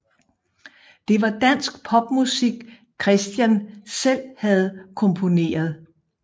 Det var dansk popmusik Kristian selv havde komponeret